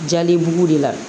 Jali bu de la